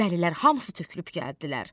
Dəlilər hamısı tökülüb gəldilər.